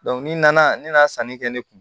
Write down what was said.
ni nana ne nana sanni kɛ ne kun